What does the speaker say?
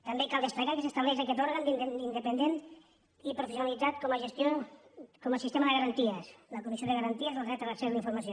també cal destacar que s’estableix aquest òrgan independent i professionalitzat com a gestor del sistema de garanties la comissió de garanties al dret a l’accés a la informació